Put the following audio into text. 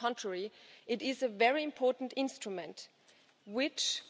on the contrary, it is a very important instrument, which